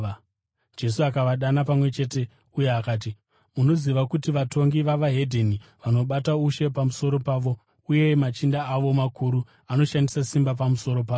Jesu akavadana pamwe chete uye akati, “Munoziva kuti vatongi veveDzimwe Ndudzi vanobata ushe pamusoro pavo uye machinda avo makuru anoshandisa simba pamusoro pavo.